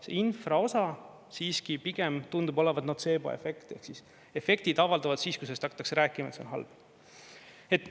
See infraosa siiski pigem tundub olevat notseeboefekt ehk siis efektid avalduvad siis, kui hakatakse rääkima, et see on halb.